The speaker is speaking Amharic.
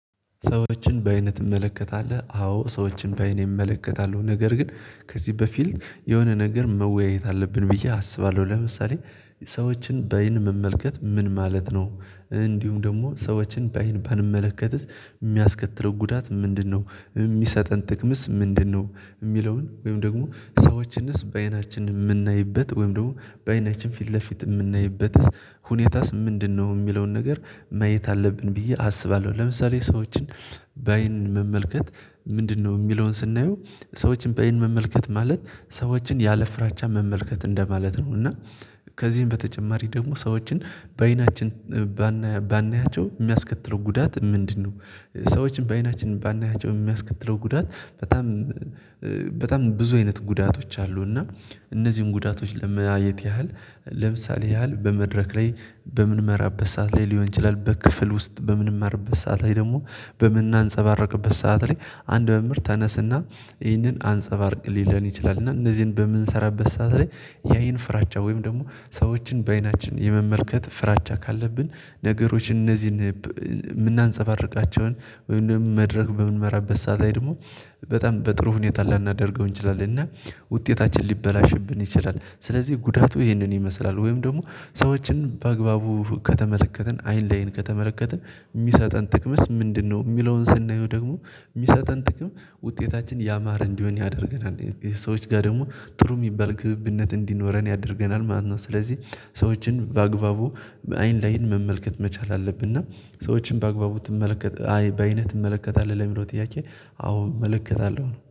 ሰዎችን በአይንህ ትመለከታለን አዎ ሰዎችን በአይኔ እመለከታለሁ ነገር ግን ከዚህ በፊልት የሆነ ነገር መወያየት አለብን ብዬ አስባለሁ ለምሳሌ ሰዎችን በአይን መመልከት ምን ማለት ነው? እንዲሁም ደግሞ ሰዎችን በይን ባንመለከትስ የሚያስከትለው ጉዳት ምንድነው? የሚሰጠን ጥቅምስ ምንድነው? የሚለውን ወይም ደግሞ ሰዎችንስ በአይናችን የምናይበት ወይም ደግሞ በአይናችን ፊት ለፊት የምናይበትስ ሁኔታስ ምንድነው? የሚለውን ነገር ማየት አለብን ብዬ አስባለሁ ለምሳሌ ሰዎችን በአይን መመልከት ምንድነው የሚለውን ስናየው ሰዎችን በአይን መመልከት ማለት ሰዎችን ያለ ፍራቻ መመልከት እንደማለት ነው። እና ከዚህም በተጨማሪ ደግሞ ሰዎችን በአይናችን ባናያቸው የሚያስከትለው ጉዳት ምንድነው? ሰዎችን በአይናችን ባናያቸው የሚያስከትለው ጉዳት በጣም በጣም ብዙ አይነት ጉዳቶች አሉ። እና እነዚህን ጉዳቶች ለመያየት ያህል ለምሳሌ ያህል በመድረክ ላይ በምንመራበት ሰዓት ላይ ሊሆን ይችላል። በክፍል ውስጥ በምንመራበት ሰዓት ላይ ደግሞ በምናንፀባርቅበት ሰዓት ላይ አንድ መምህርት ተነስና ይህንን አንፀባርቅ ሊለን ይችላል። እና እንደዚህን በምንሰራበት ሰዓት የአይን ፍራቻ ወይም ደግሞ ሰዎችን በአይናችን የመመልከት ፍራቻ ካለብን ነገሮች እነዚህን የምናንፀባርቃቸውን ወይም ደግሞ መድረክ በምንመራበት ሰዓት ላይ ደግሞ በጣም በጥሩ ሁኔታ ላናደርገው እንችላለን። እና ውጤታችን ሊበላሽብን ይችላል። ስለዚህ ጉዳቱ ይህንን ይመስላል ወይም ደግሞ ሰዎችን በአግባቡ ከተመለከትን አይን ለአይን ከተመለከትን የሚሰጠን ጥቅምስ ምንድነው? የሚለውን ስናየው ደግሞ የሚሰጠን ጥቅም ውጤታችን ያማረ እንዲሆን ያደርገናል ሰዎችጋ ደግሞ ጥሩ የሚባል ግብነት እንዲኖረን ያደርገናል ማለት ነው። ስለዚህ ሰዎችን በአግባቡ አይን ለአይን መመልከት መቻል አለብን። እና ሰዎችን በአግባቡ ትመለከታለህ በአይነት ትመለከታለህ ለሚለው ጥያቄ አዎ እመለከታለሁ